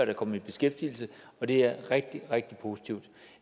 er kommet i beskæftigelse og det er rigtig rigtig positivt